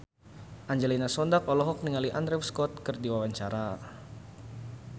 Angelina Sondakh olohok ningali Andrew Scott keur diwawancara